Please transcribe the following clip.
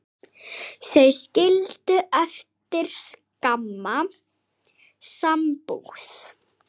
Þau skildu eftir skamma sambúð.